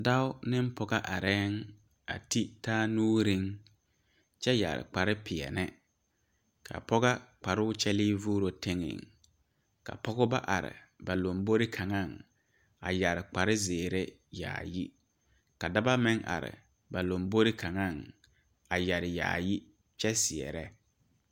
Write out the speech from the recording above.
Dɔɔ ne Pɔge are a tige taa nuure kyɛ yeere kpare peɛle kaa pɔgego kparo kyɛle vuuri teŋa ka Pɔgebo are ba laŋ bori kaŋa a yeere kpare ziiri yaayi ka dɔɔba meŋ are a laŋbori kaŋa a yeere yaayi kyɛ seɛrɛ.